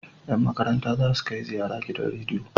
Yan makaranta zasu kai ziyara gidan rediyo